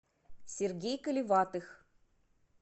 сергей колеватых